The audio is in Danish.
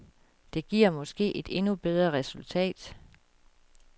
Det giver måske et endnu bedre resultat.